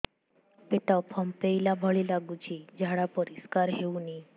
ପେଟ ଫମ୍ପେଇଲା ଭଳି ଲାଗୁଛି ଝାଡା ପରିସ୍କାର ହେଉନି